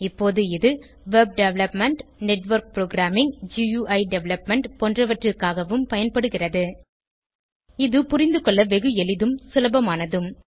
இப்போது இது web development network programming GUI development பொன்றவற்றிற்காகவும் பயன்படுகிறது இது புரிந்துகொள்ள வெகுஎளிதும் சுலபமானதும்